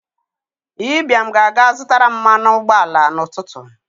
Ibiam ga-aga zụtaram mmanụ ụgbọ ala n'ụtụtụ.